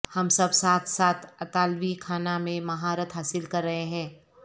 ہم سب ساتھ ساتھ اطالوی کھانا میں مہارت حاصل کر رہے ہیں